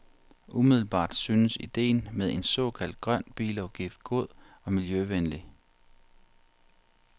Umiddelbart synes idéen med en såkaldt grøn bilafgift god og miljøvenlig.